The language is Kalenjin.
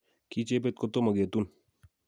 kiiy jebet kotomo ketun